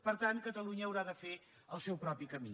per tant catalunya haurà de fer el seu propi camí